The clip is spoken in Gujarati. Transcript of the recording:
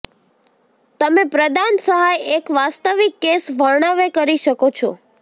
તમે પ્રદાન સહાય એક વાસ્તવિક કેસ વર્ણવે કરી શકો છો